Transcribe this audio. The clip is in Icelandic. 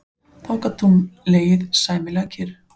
Þá loks gat hún legið sæmilega kyrr.